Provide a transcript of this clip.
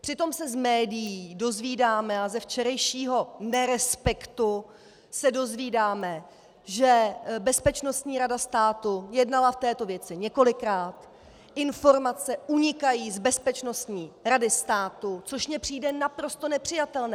Přitom se z médií dozvídáme a ze včerejšího Nerespektu se dozvídáme, že Bezpečnostní rada státu jednala v této věci několikrát, informace unikají z Bezpečnostní rady státu, což mně přijde naprosto nepřijatelné.